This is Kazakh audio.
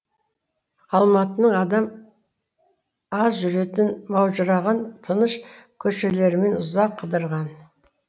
алматының адам аз жүретін маужыраған тыныш көшелерімен ұзақ қыдырған